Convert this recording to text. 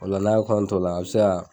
O la n'a ye kɔɔn t'o la a bɛ se kaa